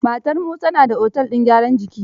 Matar Musa na da otel din gyaran jiki.